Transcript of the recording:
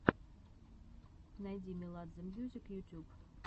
найди меладзе мьюзик ютюб